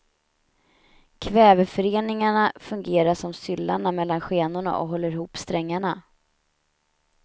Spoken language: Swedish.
Kväveföreningarna fungerar som syllarna mellan skenorna och håller ihop strängarna.